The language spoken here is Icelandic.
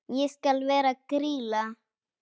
Ég skal vera Grýla.